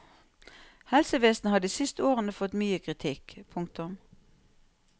Helsevesenet har de siste årene fått mye kritikk. punktum